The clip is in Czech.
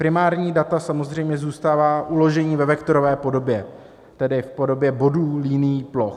Primární data samozřejmě zůstávají uložena ve vektorové podobě, tedy v podobě bodů, linií, ploch.